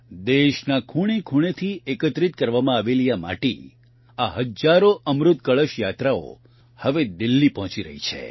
દેશના ખૂણેખૂણેથી એકત્રિત કરવામાં આવેલી આ માટી આ હજારો અમૃતકળશ યાત્રાઓ હવે દિલ્હી પહોંચી રહી છે